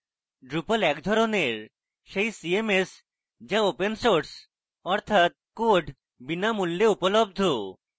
drupal এক ধরনের সেই cms যা open source অর্থাৎ code বিনামূল্যে উপলব্ধ